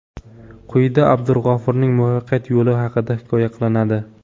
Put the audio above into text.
Quyida Abdulg‘ofurning muvaffaqiyat yo‘li haqida hikoya qilinadi.